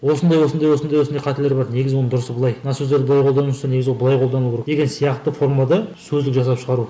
осындай осындай осындай осындай қателер бар негізі оның дұрысы былай мына сөздерді былай қолданып жүрсе негізі ол былай қолдану керек деген сияқты формада сөздік жасап шығару